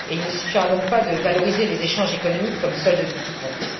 Il ne suffira donc pas de valoriser les échanges économiques comme solde de tout compte.